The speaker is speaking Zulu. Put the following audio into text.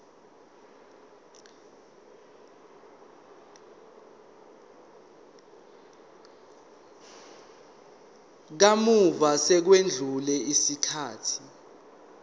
kamuva sekwedlule isikhathi